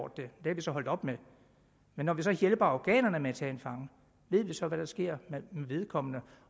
det er vi så holdt op med men når vi så hjælper afghanerne med at tage en fange ved vi så hvad der sker med vedkommende